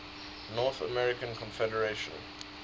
north german confederation